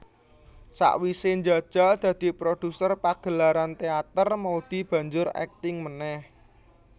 Sawise njajal dadi produser pagelaran teater Maudy banjur akting manéh